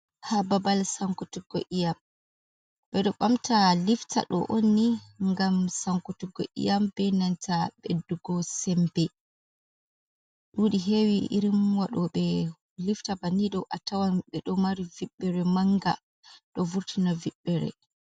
Babal sankutuggo iyam. Ɓedo Ɓamta liftaɗo onni gam sankutuggo iyam, be nanta beddugo sembe. Ɗudi hewi irin wado be lifta bani do a tawan ɓe ɗo mari viɓɓere manga ɗo vurtina viɓɓere.